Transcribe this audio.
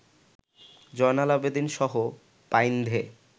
জয়নাল আবেদীনসহ বাইন্ধে